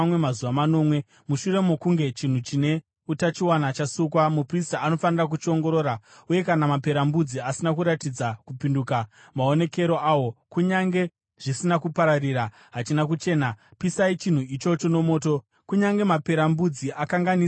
Mushure mokunge chinhu chine utachiona chasukwa, muprista anofanira kuchiongorora uye kana maperembudzi asina kuratidza kupinduka maonekero awo, kunyange zvisina kupararira, hachina kuchena. Pisai chinhu ichocho nomoto kunyange maperembudzi akanganisa divi rimwe chete.